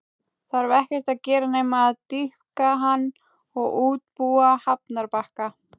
Þarf ekkert að gera nema að dýpka hann og útbúa hafnarbakka.